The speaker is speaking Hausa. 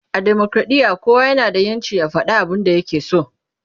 a demokradiya kowa na da ƴancin ya fada abun da ya ke so